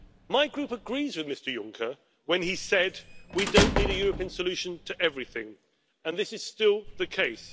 My Group agreed with Mr Juncker when he said we don't need a European solution to everything' and this is still the case.